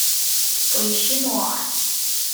поищи нуар